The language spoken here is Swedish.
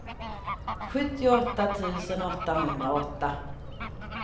sjuttioåtta tusen åttahundraåtta